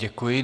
Děkuji.